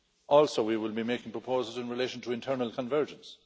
Also, we will be making proposals in relation to internal convergence.